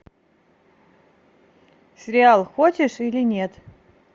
сериал хочешь или нет